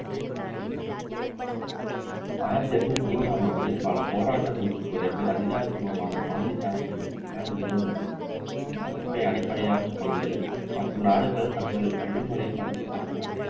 ஆயிரத்து எண்ணூற்று தொண்ணூறாம் ஆண்டு பல போராட்டங்களுக்கு பிறகு அதிகாரபூர்வமான கவுண்டி championship இங்கிலாந்தில் நிறுவப்பட்டது இந்த அமைப்பை அடிப்படையாகக்கொண்டு மற்ற நாட்கள் தங்களை வழிமுறைப்படுத்திகொண்டன